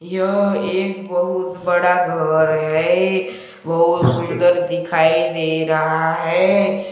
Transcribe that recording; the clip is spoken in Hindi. यह एक बहुत बड़ा घर है बहुत सुंदर दिखाई दे रहा है।